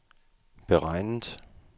beregnet